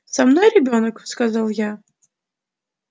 со мной ребёнок сказал я